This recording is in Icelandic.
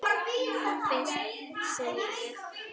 Þú fyrst, segi ég.